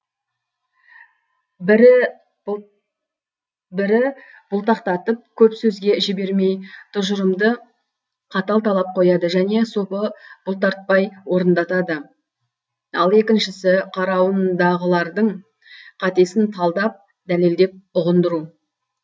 бірі бұлтақтатып көп сөзге жібермей тұжырымды қатал талап қояды және сопы бұлтартпай орындатады ал екіншісі қарауындағылардың қатесін талдап дәлелдеп ұғындыру